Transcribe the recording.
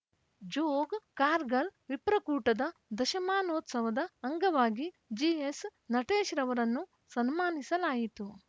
ಜೋಗ್‌ ಕಾರ್ಗಲ್‌ ವಿಪ್ರಕೂಟದ ದಶಮಾನೋತ್ಸವದ ಅಂಗವಾಗಿ ಜಿಎಸ್‌ನಟೇಶ್‌ರವರನ್ನು ಸನ್ಮಾನಿಸಲಾಯಿತು